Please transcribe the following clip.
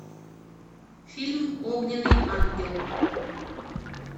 фильм огненный ангел